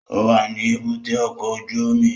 Ó wà ní èbúté ọkọ̀ ojú omi